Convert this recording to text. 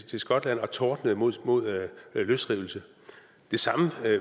til skotland og tordnede mod mod løsrivelse det samme